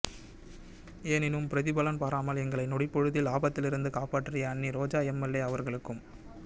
எனினும் பிரதிபலன் பாராமல் எங்களை நொடிப்பொழுதில் ஆபத்திலிருந்து காப்பாற்றிய அண்ணி ரோஜா எம் எல் ஏ அவர்களுக்கும்